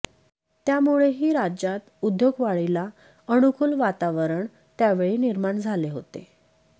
त्यामुळेही राज्यात उद्योगवाढीला अनुकूल वातावण त्यावेळी निर्माण झालं होतं